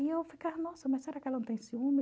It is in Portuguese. E eu ficava, nossa, mas será que ela não tem ciúmes?